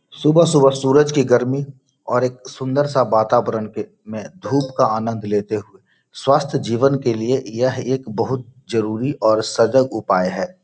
सुबह-सुबह सूरज की गर्मी और एक सुन्दर सा वातावरण पे में धूप का आनंद लेते हुए स्वस्थ जीवन के लिए यह एक बहुत जरुरी और सजग उपाय है |